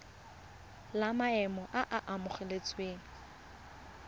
la maemo a a amogelesegang